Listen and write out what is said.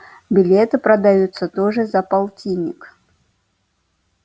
билеты продаются тоже за полтинник